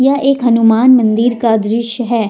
यह एक हनुमान मंदिर का दृश्य है।